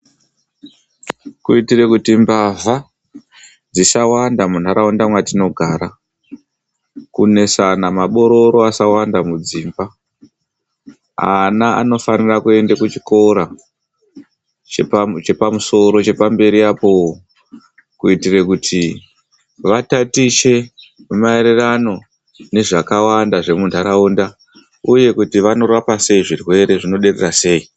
Kuitira kuti mbavha dzisawanda mundharaunda matogara kuitira kuti mabororo asawanda matogara vana vanofana kuenda kuzvikora chepa musoro chepamberi kuitira kuti vatatiche maererano nezvakawanda zvemunharaunda.